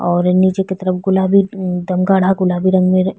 और नीचे की तरफ गुलाबी अ एकदम गाढ़ा गुलाबी रंग में --